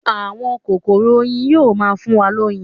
Àwọn kokoro oyin yóò má fún wa loyin.